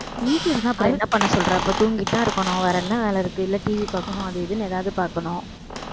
வீட்ல இருந்தா அப்புறம் என்ன பண்ண சொல்ற அப்போ தூங்கிட்டு தான் இருக்கணும் வேற என்ன வேலை இருக்கு இல்ல TV பாக்கணும் அது இதுன்னு ஏதாவது பாக்கணும்